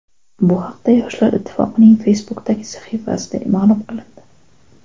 Bu haqda Yoshlar Ittifoqining Facebook’dagi sahifasida ma’lum qilindi .